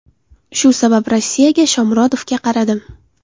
Shu sabab Rossiyaga, Shomurodovga qaradim.